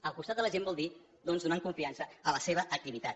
al costat de la gent vol dir doncs donant confiança a la seva activitat